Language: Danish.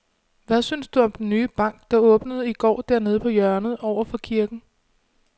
Hvad synes du om den nye bank, der åbnede i går dernede på hjørnet over for kirken?